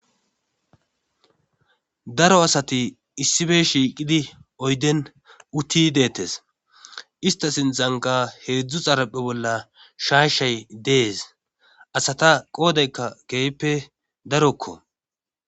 daro asati issibe shiiqidi oyden uti deettes ista sintzanka heedzdzu xaraphe bolla shaashay dees asata qoodeykka keeyppe darokko